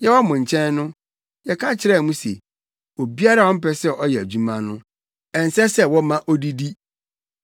Yɛwɔ mo nkyɛn no, yɛka kyerɛɛ mo se, “Obiara a ɔmpɛ sɛ ɔyɛ adwuma no, ɛnsɛ sɛ wɔma odidi.”